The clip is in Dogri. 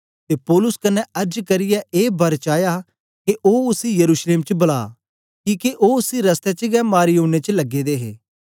ते पौलुस कन्ने अर्ज करियै ए वर चाया के ओ उसी यरूशलेम च बला किके ओ उसी रस्ते च गै मारी ओड़नें च लगे दे हे